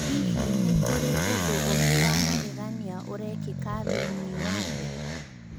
Hihi nĩ kũrĩ ũndũ ũngĩ wa magegania ũrekĩka thĩinĩ wa thĩ?